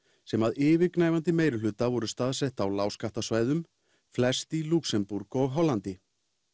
sem að yfirgnæfandi meirihluta voru staðsett á lágskattasvæðum flest í Lúxemborg og Hollandi